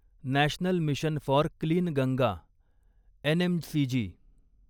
national mission for clean Ganga NMCG